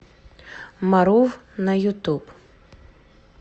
марув на ютуб